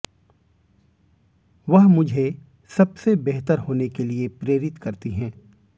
वह मुझे सबसे बेहतर होने के लिए प्रेरित करती हैं